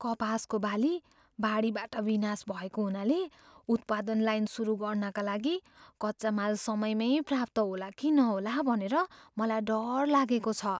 कपासको बाली बाढीबाट विनाश भएको हुनाले उत्पादन लाइन सुरु गर्नाका लागि कच्चा माल समयमै प्राप्त होला कि नहोला भनेर मलाई डर लागेको छ।